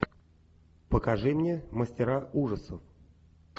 покажи мне мастера ужасов